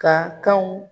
Ka kanw